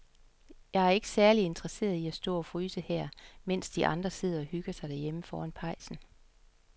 Jeg er ikke særlig interesseret i at stå og fryse her, mens de andre sidder og hygger sig derhjemme foran pejsen.